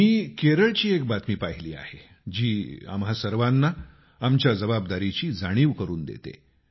मी केरळची एक बातमी पाहिली आहे जी आम्हा सर्वांना आमच्या जबाबदारीची जाणिव करून देते